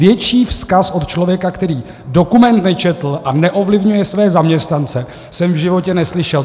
Větší vzkaz od člověka, který dokument nečetl a neovlivňuje své zaměstnance, jsem v životě neslyšel.